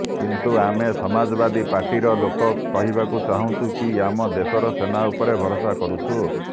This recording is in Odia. କିନ୍ତୁ ଆମେ ସମାଜବାଦୀ ପାର୍ଟିର ଲୋକ କହିବାକୁ ଚାହୁଁଛୁ କି ଆମେ ଦେଶର ସେନା ଉପରେ ଭରସା କରୁଛୁ